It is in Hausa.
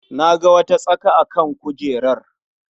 Na ga wata tsaka a kan kujerar.